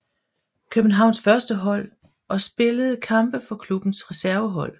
Københavns førstehold og spillede kampe for klubbens resvervehold